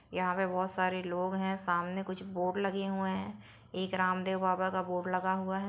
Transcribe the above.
यहाँ पर बहुत सारे लोग है सामने कुछ बोर्ड लगे हुए है एक रामदेव बाबा का बोर्ड लगा हुआ है ।